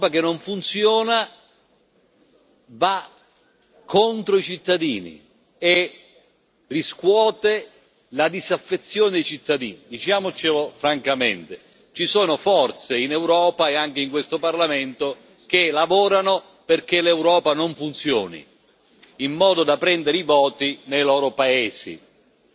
L'Europa che non funziona va contro i cittadini e riscuote la disaffezione dei cittadini. Diciamocelo francamente ci sono forze in Europa, e anche in questo Parlamento, che lavorano perché l'Europa non funzioni, in modo da prendere i voti nei loro paesi.